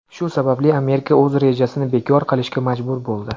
Shu sababli, Amerika o‘z rejasini bekor qilishga majbur bo‘ldi.